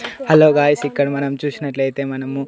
Hello guys ఇక్కడ మనం చూసినట్లయితే మనము.